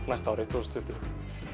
næsta ári tvö þúsund